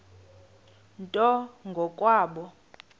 nto ngo kwabo